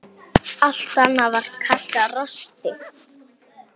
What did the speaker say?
Allt annað var kallað rosti.